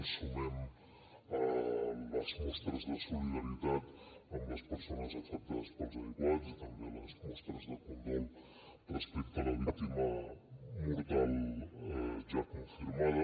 ens sumem a les mostres de solidaritat amb les persones afectades pels aiguats i també a les mostres de condol respecte a la víctima mortal ja confirmada